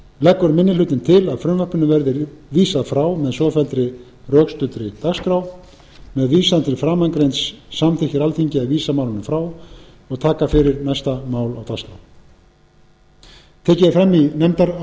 leggur minni hlutinn til að frumvarpinu verði vísað frá með svofelldri rökstuddri dagskrá með vísan til framangreinds samþykkir alþingi að vísa málinu frá og taka fyrir næsta mál á dagskrá tekið er fram í nefndarálitinu að